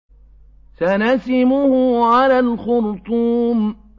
سَنَسِمُهُ عَلَى الْخُرْطُومِ